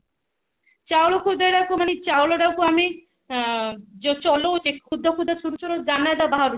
ଚାଉଳ ଖୁଦଟାକୁ ମାନେ ଚାଉଳ ଟାକୁ ଆମେ ଯୋଉ ଚଲୋଉଛେ ଖୁଦଖୁଦ ଚୂରା ଚୂରା ଦାନା ଯୋଉ ବାହାରୁଛି